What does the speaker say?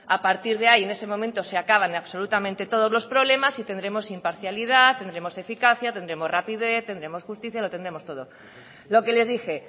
a partir de ahí en ese momento se acaban absolutamente todos los problemas y tendremos imparcialidad tendremos eficacia tendremos rapidez tendremos justicia lo tendremos todo lo que les dije